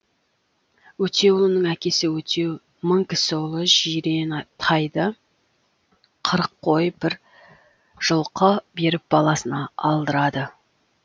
өтеуұлының әкесі өтеу мыңкісіұлы жирен тайды қырық қой бір жылқы беріп баласына алдырады